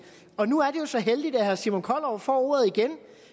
og nu er det jo så heldigt at herre simon kollerup får ordet igen